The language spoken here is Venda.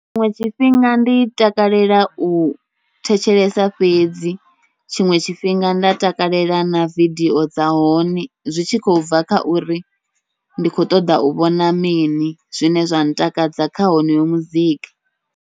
Tshiṅwe tshifhinga ndi takalela u thetshelesa fhedzi, tshiṅwe tshifhinga nda takalela na vidio dza hone zwi tshi khou bva kha uri ndi khou ṱoḓa u vhona mini, zwine zwa ntakadza kha honoyo muzika.